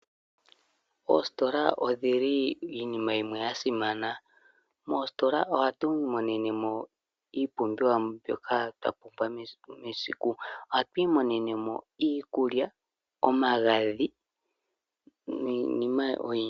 Oositola odhili iinima yimwe yasimana moositola ohatu imonene mo iipumbiwa mbyoka twapumbwa mesiku nesiku. Ohatu imonene mo iikulya, omagadhi niinima oyindji.